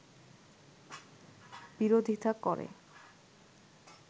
বিরোধীতা করে